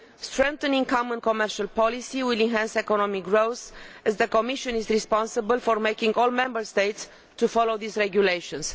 Strengthening common commercial policy will enhance economic growth, as the Commission is responsible for making all Member States follow these regulations.